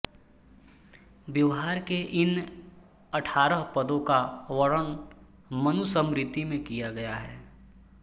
व्यवहार के इन अठारह पदों का वर्णन मनुस्मृति में किया गया है